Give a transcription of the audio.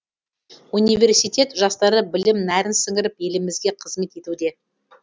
университет жастары білім нәрін сіңіріп елімізге қызмет етуде